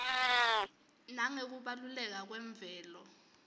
nangekubaluleka kwemvelo